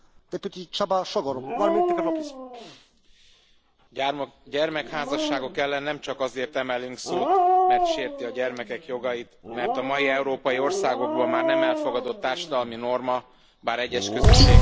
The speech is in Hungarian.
Elnök Úr! Gyermekházasságok ellen nem csak azért emelünk szót, mert sérti a gyermekek jogait, mert a mai európai országokban már nem elfogadott társadalmi norma, bár egyes közösségekben még ma is élő gyakorlat.